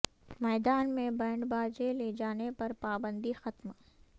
میدان میں بینڈ باجے لے جانے پر پابندی ختم